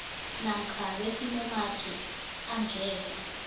namkha besimumathi angeze